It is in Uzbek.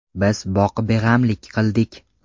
Biz boqibeg‘amlik qildik.